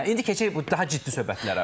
Hə, indi keçək bu daha ciddi söhbətlərə.